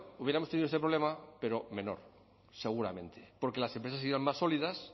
hubiéramos tenido este problema pero menor seguramente porque las empresas serían más sólidas